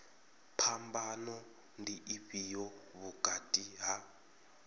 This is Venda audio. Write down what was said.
phambano ndi ifhio vhukati ha